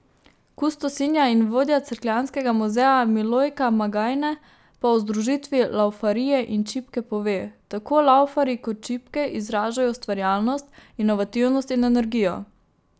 Kustosinja in vodja cerkljanskega muzeja Milojka Magajne pa o združitvi laufarije in čipke pove: 'Tako laufarji kot čipke izražajo ustvarjalnost, inovativnost in energijo.